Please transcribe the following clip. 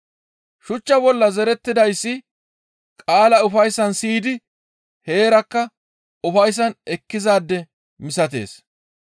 Shuchcha bolla zerettidayssi qaala ufayssan siyidi heerakka ufayssan ekkizaade misatees.